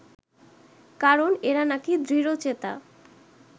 কারণ এরা নাকি দৃঢ়চেতা